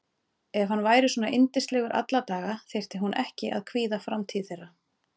Ef hann væri svona yndislegur alla daga þyrfti hún ekki að kvíða framtíð þeirra.